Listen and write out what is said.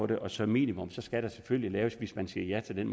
det og som minimum skal der selvfølgelig hvis man siger ja til den